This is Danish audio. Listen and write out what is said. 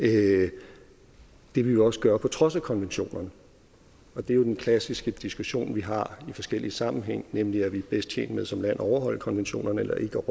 det vil man også gøre på trods af konventionerne det er jo den klassiske diskussion vi har i forskellige sammenhænge nemlig om vi er bedst tjent med som land at overholde konventionerne eller ikke